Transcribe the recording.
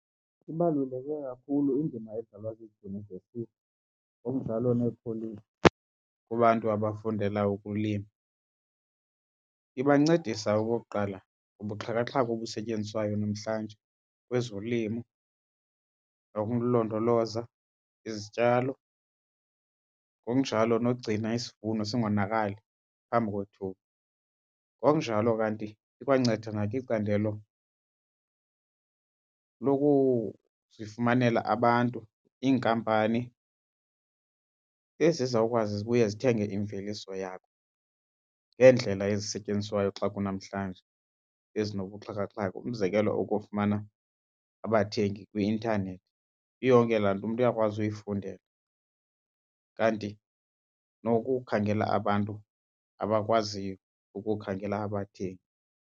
Ibaluleke kakhulu indima edlalwa ziidyunivesiti ngokunjalo neekholeji kubantu abafundela ukulima. Ibancedisa okokuqala kubuxhakaxhaka obusetyenziswayo namhlanje kwezolimo nokulondoloza izityalo, ngokunjalo nokugcina isivuno singonakali phambi kwethuba. Ngokunjalo kanti ikwanceda nakwicandelo lokuzifumanela abantu, iinkampani ezizawukwazi ubuye zithenge imveliso yakho ngeendlela ezisetyenziswayo xa kunamhlanje ezinobuxhakaxhaka, umzekelo ukufumana abathengi kwi-intanethi. Iyonke laa nto umntu uyakwazi uyifundela kanti nokukhangela abantu abakwaziyo ukukhangela abathengi.